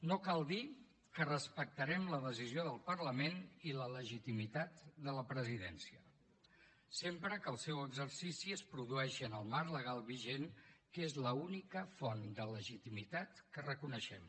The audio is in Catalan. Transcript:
no cal dir que respectarem la decisió del parlament i la legitimitat de la presidència sempre que el seu exercici es produeixi en el marc legal vigent que és l’única font de legitimitat que reconeixem